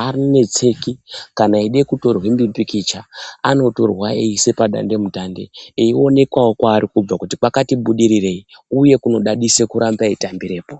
anetseki kana eide kutorwe mupikicha anotorwa eiise padande mutande eionekwawo kwavari kubva kuti kwati budirirei uye kuno dadise kuramba eitambirepo.